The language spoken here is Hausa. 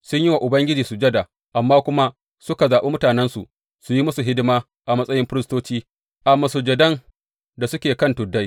Sun yi wa Ubangiji sujada, amma kuma suka zaɓi mutanensu su yi musu hidima a matsayin firistoci a masujadan da suke kan tuddai.